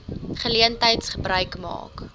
geleentheid gebruik maak